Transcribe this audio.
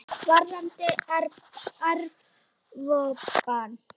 Varðandi Evrópu?